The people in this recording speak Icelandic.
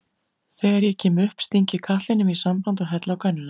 Þegar ég kem upp sting ég katlinum í samband og helli á könnuna.